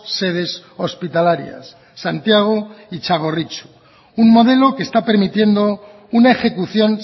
sedes hospitalarias santiago y txagorritxu un modelo que está permitiendo una ejecución